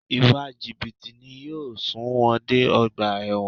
Ìwà jìbìtì ni yóò sun wọn dé ọgbà ẹ̀wọ̀n